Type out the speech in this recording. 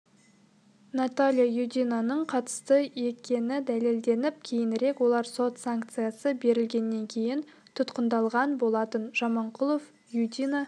наталья юдинаның қатысты екені дәлелденіп кейінірек олар сот санкциясы берілгеннен кейін тұтқындалған болатын жаманқұлов юдина